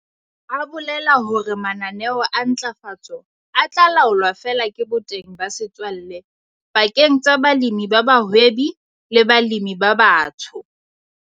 A bolela hore mananeo a ntlafatso a tla laolwa feela ke boteng ba setswalle pakeng tsa balemi ba bahwebi le balemi ba batsho.